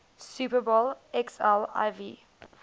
super bowl xliv